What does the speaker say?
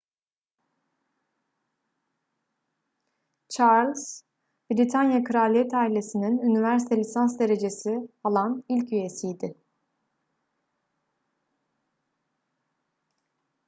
charles britanya kraliyet ailesi'nin üniversite lisans derecesi alan ilk üyesiydi